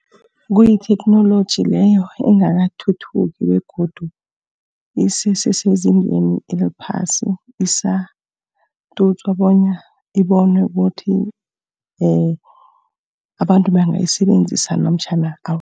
Kuyitheknoloji leyo engakathuthuki begodu isese sezingeni eliphasi. Isatutswa bona ibonwe ukuthi abantu bangayisebenzisa namtjhana awa.